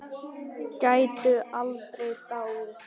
Gætu aldrei dáið.